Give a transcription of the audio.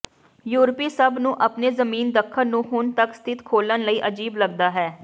ਯੂਰਪੀ ਸਭ ਨੂੰ ਆਪਣੇ ਜ਼ਮੀਨ ਦੱਖਣ ਨੂੰ ਹੁਣ ਤੱਕ ਸਥਿਤ ਖੋਲ੍ਹਣ ਲਈ ਅਜੀਬ ਲੱਗਦਾ ਹੈ